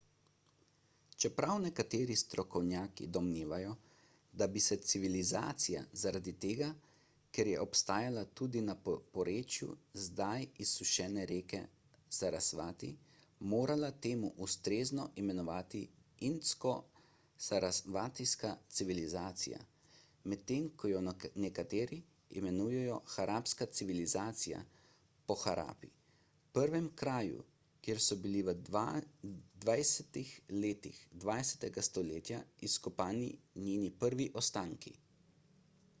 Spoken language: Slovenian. čeprav nekateri strokovnjaki domnevajo da bi se civilizacija zaradi tega ker je obstajala tudi na porečju zdaj izsušene reke sarasvati morala temu ustrezno imenovati indsko-sarasvatijska civilizacija medtem ko jo nekateri imenujejo harapska civilizacija po harapi prvem kraju kjer so bili v 20 letih 20 stoletja izkopani njeni prvi ostanki